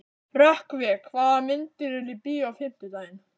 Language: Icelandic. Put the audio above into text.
Rökkvi, hvaða myndir eru í bíó á fimmtudaginn?